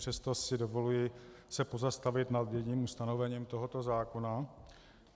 Přesto si dovoluji se pozastavit nad jedním ustanovením tohoto zákona.